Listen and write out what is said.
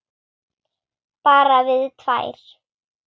Bara við tvær.